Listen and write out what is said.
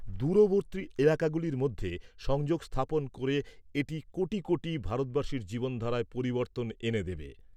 দূরবর্তী এলাকাগুলির মধ্যে সংযোগ স্থাপন করে এটি কোটি কোটি ভারতবাসীর জীবনধারায় পরিবর্তন এনে দেবে।